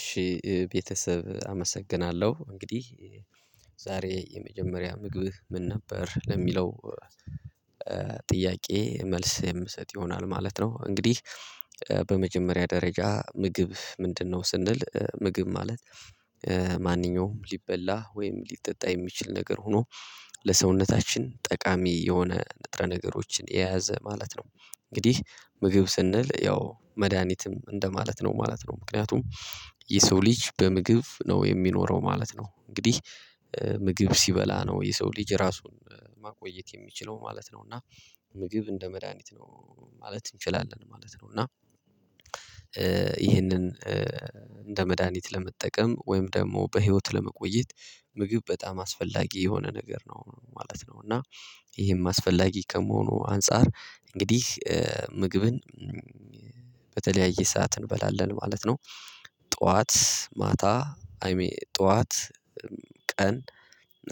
እሺ ቤተሰብ አመሰግናለሁ። እንግዲህ ዛሬ የመጀመሪያ ምግብህ ምን ነበር? ለሚለው ጥያቄ መልስ የምሰጥ ይሆናል ማለት ነው። እንግዲህ በመጀመሪያ ደረጃ ምግብ ምንድነው? ስንል ምግብ ማለት ማንኛውም ሊበላ ወይም ሊጠጣ የሚችል ነገር ሆኖ ለሰውነታችን ጠቃሚ የሆነ ንጥረ ነገሮችን የያዘ ማለት ነው። እንግዲህ ምግብ ስንል ያው መድሃኒትም እንደማለት ነው ማለት ነው። ምክንያቱም የሰው ልጅ በምግብ ነው የሚኖረው ማለት ነው። እንግዲህ ምግብ ሲበላ ነው የሰው ልጅ ራሱን ማቆየት የሚችለው ማለት ነው። እና ምግብ እንደ መድሃኒት ነው ማለት እንችላለን ማለት ነው። እና ይህንን እንደ መድሃኒት ለመጠቀም ወይም ደግሞ በህይወት ለመቆየት ምግብ በጣም አስፈላጊ የሆነ ነገር ነው ማለት ነው። እና ይሄም አስፈላጊ ከመሆኑ አንፃር እንግዲህ ምግብን በተለያየ ሰዓት እንበላለን ማለት ነው። ጠዋት፣ ማታ አይ ሚን ጠዋት ቀን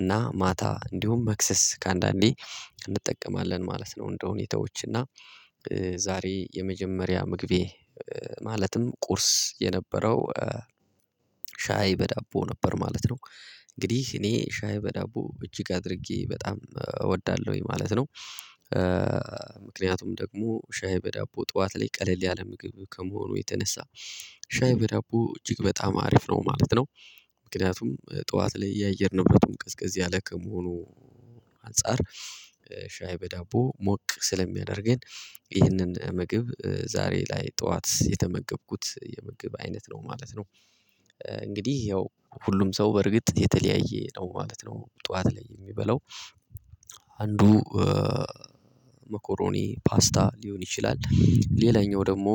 እና ማታ እንዲሁም መክሰስ ከአንዳንዴ እንጠቀማለን ማለት ነው። እንደ ሁኔታዎች እና ዛሬ የመጀመሪያ ምግቤ፣ ማለትም ቁርስ የነበረው ሻይ በዳቦ ነበር ማለት ነው። እንግዲህ እኔ ሻይ በዳቦ እጅግ አድርጌ በጣም እወዳለሁኝ ማለት ነው። ምክንያቱም ደግሞ ሻይ በዳቦ ጠዋት ላይ ቀለል ያለ ምግብ ከመሆኑ የተነሳ ሻይ በዳቦ እጅግ በጣም አሪፍ ነው ማለት ነው። ምክንያቱም ጠዋት ላይ የአየር ንብረቱም ቀዝቀዝ ያለ ከመሆኑ አንፃር ሻይ በዳቦ ሞቅ ስለሚያደርገን ይህንን ምግብ ዛሬ ላይ ጠዋት የተመገብኩት የምግብ አይነት ነው ማለት ነው። እንግዲህ ያው ሁሉም ሰው በርግጥ የተለያየ ነው ማለት ነው ጠዋት ላይ የሚበላው። አንዱ መኮሮኒ፣ ፓስታ ሊሆን ይችላል ሌላኛው ደግሞ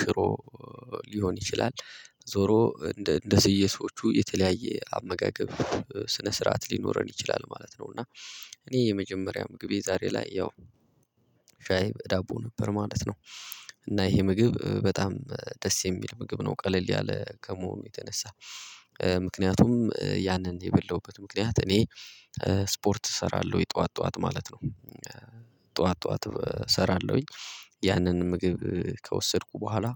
ሽሮ ሊሆን ይችላል። ዞሮ እንደ እንደ የሰዎቹ የተለያየ አመጋገብ ስነ ስርዓት ሊኖረን ይችላል ማለት ነው። እና እኔ የመጀመሪያ ምግቤ ዛሬ ላይ ያው ሻይ በዳቦ ነበር ማለት ነው። እና ይሄ ምግብ በጣም ደስ የሚል ምግብ ነው፣ ቀለል ያለ ከመሆኑ የተነሳ። ምክንያቱም ያንን የበላሁበት ምክንያት እኔ ስፖርት እሰራለሁ የጠዋት ጠዋት ማለት ነው። ጠዋት ጠዋት እሰራለሁኝ ያንን ምግብ ከወሰድኩ በኋላ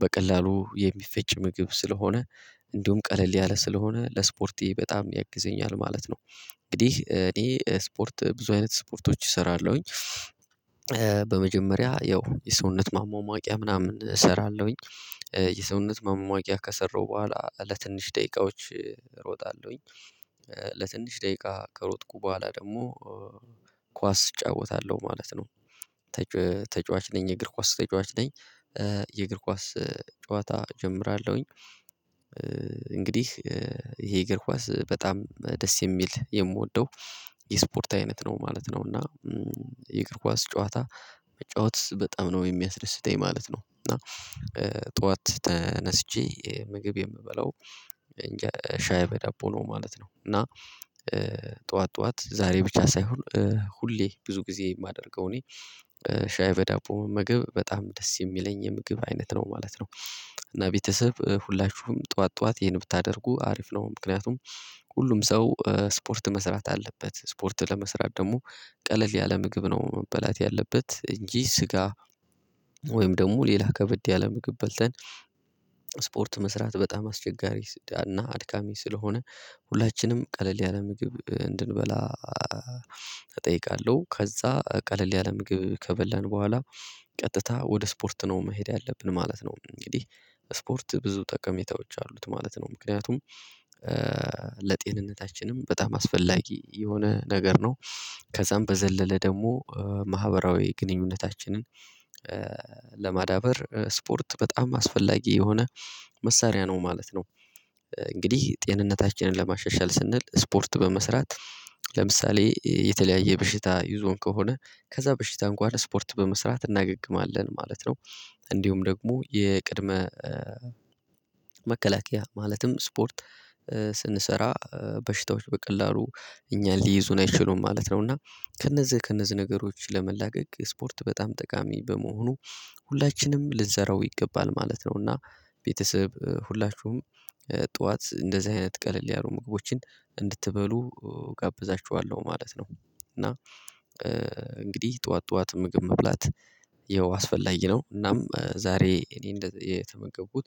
በቀላሉ የሚፈጭ ምግብ ስለሆነ እንዲሁም ቀለል ያለ ስለሆነ ለስፖርቴ በጣም ያግዘኛል ማለት ነው። እንግዲህ ይሄ ስፖርት፣ ብዙ አይነት ስፖርቶች እሰራለሁኝ። በመጀመሪያ ያው የሰውነት ማማቂያ ምናምን እሰራለሁኝ። የሰውነት ማማቂያ ከሰራሁ በኋላ ለትንሽ ደቂቃዎች እሮጣለሁኝ። ለትንሽ ደቂቃ ከሮጥኩ በኋላ ደግሞ ኳስ እጫወታለሁ ማለት ነው። ተጫዋች ነኝ፤ የእግር ኳስ ተጫዋች ነኝ። የእግር ኳስ ጨዋታ እጀምራለሁኝ። እንግዲህ ይሄ የእግር ኳስ በጣም ደስ የሚል፣ የምወደው፣ የስፖርት አይነት ነው ማለት ነው። እና የእግር ኳስ ጨዋታ መጨዋት በጣም ነው የሚያስደስተኝ ማለት ነው። እና ጠዋት ተነስቼ ምግብ የምበለው እንጄ፣ ሻይ በዳቦ ነው ማለት ነው። እና ጠዋት ጠዋት ዛሬ ብቻ ሳይሆን ሁሌ፣ ብዙ ጊዜ የማደርገው እኔ ሻይ በዳቦ መመገብ በጣም ደስ የሚለኝ የምግብ አይነት ነው ማለት ነው። እና ቤተሰብ ሁላችሁም ጠዋት፣ ጠዋት ይሄን ብታደርጉ አሪፍ ነው። ምክንያቱም ሁሉም ሰው ስፖርት መስራት አለበት። ስፖርት ለመስራት ደግሞ ቀለል ያለ ምግብ ነው መበላት ያለበት፣ እንጂ ስጋ ወይም ደግሞ ሌላ ከበድ ያለ ምግብ በልተን ስፖርት መስራት በጣም አስቸጋሪ እና አድካሚ ስለሆነ ሁላችንም ቀለል ያለ ምግብ እንድንበላ እጠይቃለሁ። ከዛ ቀለል ያለ ምግብ ከበላን በኋላ ቀጥታ ወደ ስፖርት ነው መሄድ ያለብን ማለት ነው። እንግዲህ ስፖርት ብዙ ጠቀሜታዎች አሉት ማለት ነው። ምክንያቱም ለጤንነታችንም በጣም አስፈላጊ የሆነ ነገር ነው። ከዛም በዘለለ ደግሞ ማህበራዊ ግንኙነታችንን ለማዳበር ስፖርት በጣም አስፈላጊ የሆነ መሳሪያ ነው ማለት ነው። እንግዲህ ጤንነታችንን ለማሻሻል ስንል ስፖርት በመስራት ለምሳሌ የተለያየ በሽታ ይዞን ከሆነ ከዛ በሽታ ጓደ ስፖርት በመስራት እናገግማለን ማለት ነው። እንዲሁም ደግሞ የቅድመ መከላከያ ማለትም ስፖርት ስንሰራ በሽታዎች በቀላሉ እኛን ሊይዙን አይችሉም ማለት ነው። እና ከእነዚህ፣ ከእነዚህ ነገሮች ለመላቀቅ ስፖርት በጣም ጠቃሚ በመሆኑ ሁላችንም ልትዘራው ይገባል ማለት ነው። እና ቤተሰብ ሁላችሁም ጠዋት እንደዚህ አይነት ቀለል ያሉ ምግቦችን እንድትበሉ እጋብዛችኋለሁ ማለት ነው። እና እንግዲህ ጠዋት፣ ጠዋት ምግብ መብላት ያው አስፈላጊ ነው። እናም ዛሬ እኔ እንደዚህ የተመገቡት